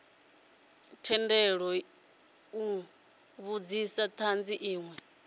tendelwa u vhudzisa thanzi inwe